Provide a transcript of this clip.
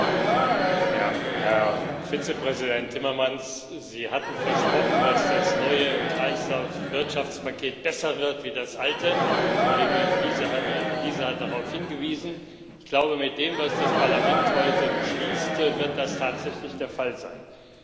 Herr Präsident! Herr Vizepräsident Timmermans, Sie hatten versprochen, dass das neue Kreislaufwirtschaftspaket besser wird als das alte. Kollege Liese hat darauf hingewiesen. Ich glaube, mit dem, was das Parlament heute beschließt, wird das tatsächlich der Fall sein.